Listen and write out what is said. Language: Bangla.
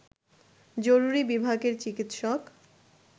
জরুরি বিভাগের চিকিৎসক